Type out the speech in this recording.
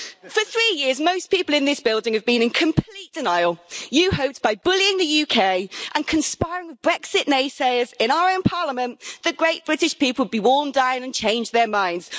For three years, most people in this building have been in complete denial. You hoped by bullying the UK and conspiring with Brexit naysayers in our own Parliament, the Great British people would be worn down and change their minds.